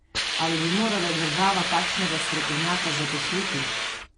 Ali bi morala država takšnega strokovnjaka zaposliti?